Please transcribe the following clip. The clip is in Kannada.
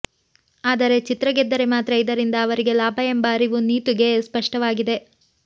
ಆದರೆ ಚಿತ್ರ ಗೆದ್ದರೆ ಮಾತ್ರ ಇದರಿಂದ ಅವರಿಗೆ ಲಾಭ ಎಂಬ ಅರಿವು ನೀತೂಗೆ ಸ್ಪಷ್ಟವಾಗಿದೆ